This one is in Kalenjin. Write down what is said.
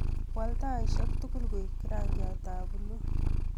Waal taishek tugul koek rangyatab puluu